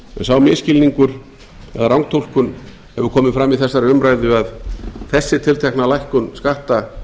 sá misskilningur eða rangtúlkun hefur komið fram í þessari umræðu að þessi tiltekna lækkun skatta